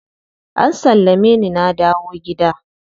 An sallame ni na dawo gida.